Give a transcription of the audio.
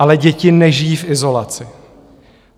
Ale děti nežijí v izolaci.